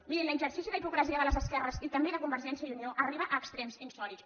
mirin l’exercici d’hipocresia de les esquerres i també de convergència i unió arriba a extrems insòlits